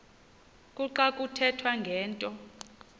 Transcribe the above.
kuxa kuthethwa ngento